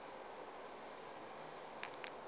ke a go kwa o